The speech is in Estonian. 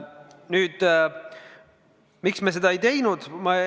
Nüüd, miks me seda ei teinud?